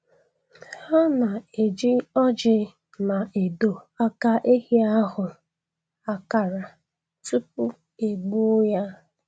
Ha na-eji ọjị na edo aka ehi ahụ akara tupu e gbuo ya